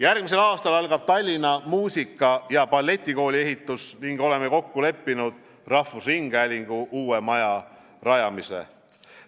Järgmisel aastal algab Tallinna Muusika- ja Balletikooli ehitus ning oleme kokku leppinud rahvusringhäälingu uue maja rajamise.